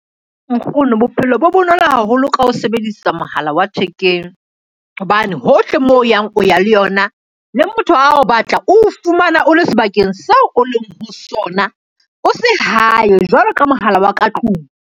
Nkgono bophelo bo bonolo haholo ka ho sebedisa mohala wa thekeng, hobane hohle moo o yang, o ya le yona le motho a o batla, o fumana o le sebakeng seo o leng ho sona, o se hae jwalo ka mohala wa ka tlung.